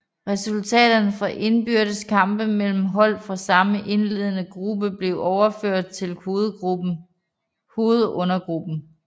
Resultaterne fra indbyrdes kampe mellem hold fra samme indledende gruppe blev overført til hovedrundegruppen